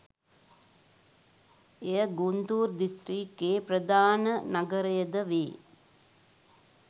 එය ගුන්තූර් දිස්ත්‍රික්කයේ ප්‍රධාන නගරයද වේ.